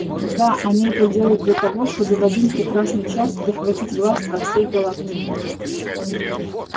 да они это делают для того чтобы в один прекрасный час захватить власть во всей галактике